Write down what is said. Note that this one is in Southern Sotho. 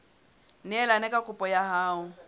neelane ka kopo ya hao